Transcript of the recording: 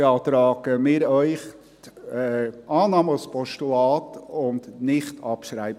Deshalb beantragen wir Ihnen, die Annahme als Postulat, und nicht Abschreibung.